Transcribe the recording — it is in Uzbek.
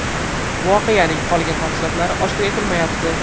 Voqeaning qolgan tafsilotlari oshkor etilmayapti.